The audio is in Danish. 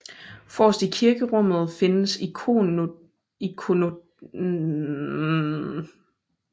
Forrest i kirkerummet findes ikonostasen foran alteret